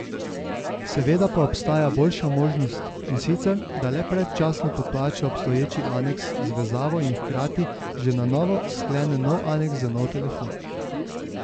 Seveda pa obstaja boljša možnost in sicer, da le predčasno poplača obstoječi aneks z vezavo in hkrati že na novo sklene nov aneks za nov telefon.